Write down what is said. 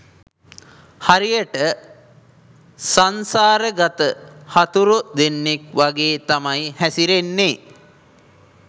හරියට සංසාර ගත හතුරෝ දෙන්නෙක් වගේ තමයි හැසිරෙන්නේ.